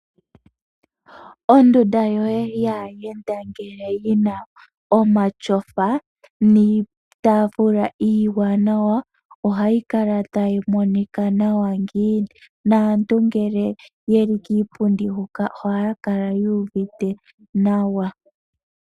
Ondunda yoye yaa yenda ngele yina omatyofa, niitafula iiwanawa ohayi kala tayi monika nawa ngiini, naantu ngele yeli kiipundi huka ohaya kala yuuvite nawa.